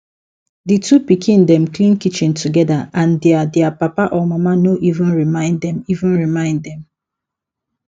di two pikin dem clean kitchen together and their their papa or mama no even remind dem even remind dem